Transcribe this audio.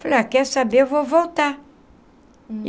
Falei ah, quer saber, eu vou voltar.